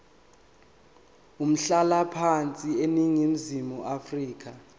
umhlalaphansi eningizimu afrika